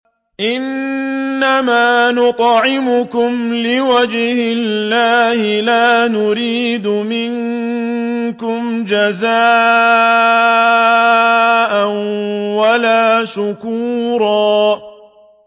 إِنَّمَا نُطْعِمُكُمْ لِوَجْهِ اللَّهِ لَا نُرِيدُ مِنكُمْ جَزَاءً وَلَا شُكُورًا